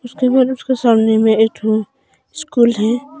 Screen में उसके सामने में एक ठो स्कूल है।